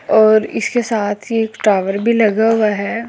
और इसके साथ ही एक टोअर भी लगा हुआ है और --